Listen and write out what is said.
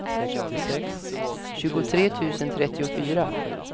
tjugotre tusen trettiofyra